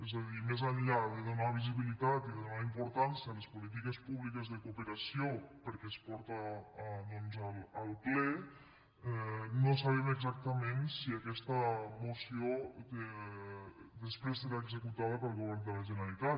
és a dir més enllà de donar visibilitat i de donar importància a les polítiques públiques de cooperació perquè es porta al ple no sabem exactament si aquesta moció després serà executada pel govern de la generalitat